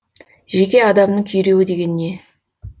жеке адамның күйреуі деген не